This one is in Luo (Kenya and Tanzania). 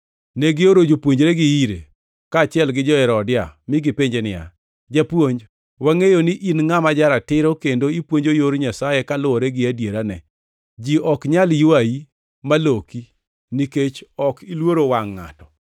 Negioro jopuonjregi ire, kaachiel gi jo-Herodia, mi negipenje niya, “Japuonj, wangʼeyo ni in ngʼama ja-ratiro kendo ipuonjo yor Nyasaye kaluwore gi adierane. Ji ok nyal ywayi maloki nikech ok iluoro wangʼ ngʼato.